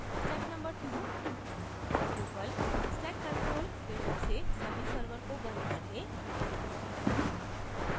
step no 2: drupal stack control window से सभी server को बंद कर दें